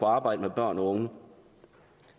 arbejde med børn og unge